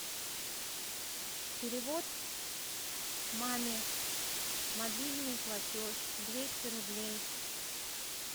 перевод маме мобильный платеж двести рублей